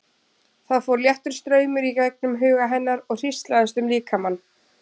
Það fór léttur straumur í gegnum huga hennar og hríslaðist um líkamann.